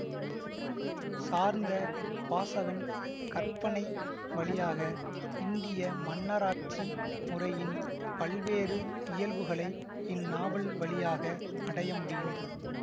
சார்ந்த வாசகன் கற்பனை வழியாக இந்திய மன்னராட்சி முறையின் பல்வேறு இயல்புகளை இந்நாவல் வழியாக அடைய முடியும்